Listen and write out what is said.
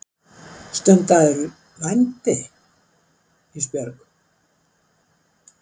Stundaðirðu vændi Ísbjörg?